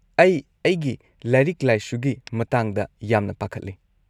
ꯑꯩ ꯑꯩꯒꯤ ꯂꯥꯏꯔꯤꯛ ꯂꯥꯏꯁꯨꯒꯤ ꯃꯇꯥꯡꯗ ꯌꯥꯝꯅ ꯄꯥꯈꯠꯂꯦ꯫